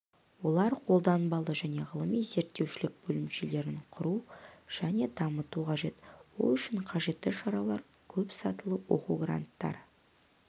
олар қолданбалы және ғылыми-зерттеушілік бөлімшелерін құруы және дамытуы қажет ол үшін қажетті шаралар көпсатылы оқу гранттары